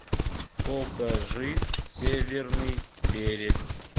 покажи северный берег